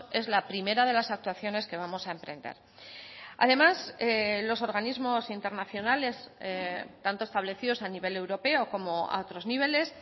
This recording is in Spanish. es la primera de las actuaciones que vamos a emprender además los organismos internacionales tanto establecidos a nivel europeo como a otros niveles